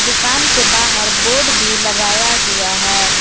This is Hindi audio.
दुकान के बाहर बोर्ड भी लगाया हुआ है।